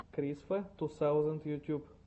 крисфа ту таузенд ютуб